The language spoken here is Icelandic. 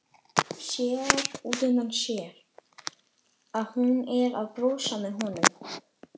Sér útundan sér að hún er að brosa að honum.